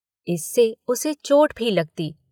इससे उसे चोट भी लगती।